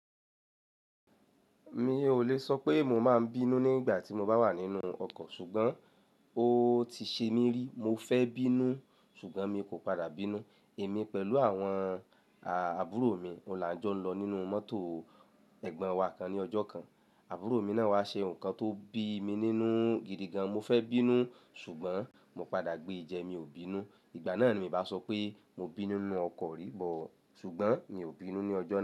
Mi ò lè sọ pé mo máa ń bínú nígbà tí mo bá wà nínú ọkọ̀, ṣùgbọ́n ó ti ṣe mí rí. Mo fẹ́ bínú ṣùgbọ́n mi kò padà bínú. Èmi pẹ̀lú àwọn àbúrò mi ọ̀hun la ń jó ń lọ nínú mọ́tò ẹ̀gbọ́n wa kan ní ọjọ́ kan. Àbúrò mi náà wá ṣe nǹkan tó bí mi nínú gìdìgàn. Mo fẹ́ bínú ṣùgbọ́n mo padà gbé ẹ̀ jẹ̀, mi ò bínú. Ìgbà náà ni mo bá sọ pé mo bínú nínú ọkọ̀ rí bọ̀, ṣùgbọ́n mi ò bínú ní ọjọ́ náà.